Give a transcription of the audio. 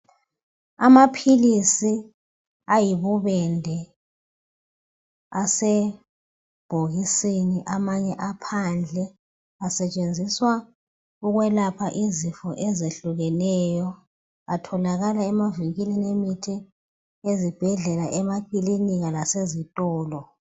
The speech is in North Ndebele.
Amaphilisi ayibubende asebhokisini, amanye aphandle. Asetshenziswa ukwelapha izifo ezehlukeneyo. Atholakala emavinkilini emithi , ezibhedlela emakilinika lasezitolo.